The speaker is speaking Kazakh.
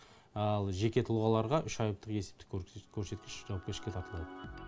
ал жеке тұлғаларға үш айлықтық есептік көрсеткіш жауапкершілікке тартылады